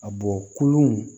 A bɔ kolon